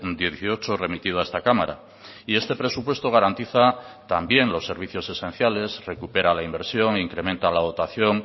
dieciocho remitido a esta cámara y este presupuesto garantiza también los servicios esenciales recupera la inversión incrementa la dotación